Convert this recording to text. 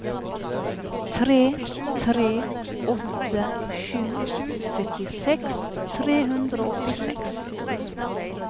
tre tre åtte sju syttiseks tre hundre og åttiseks